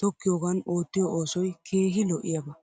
tokkiyoogan oottiyoo oosoy keehi lo'iyaaba